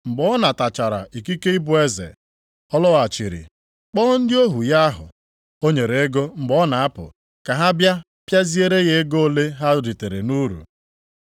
“Mgbe ọ natachara ikike ịbụ eze, ọ lọghachiri, kpọọ ndị ohu ya ahụ o nyere ego mgbe ọ na-apụ, ka ha bịa pịaziere ya ego ole ha ritere nʼuru.